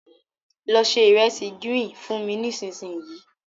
Lọ se ìresì gírín-ìn fún mi nísinsìnyí.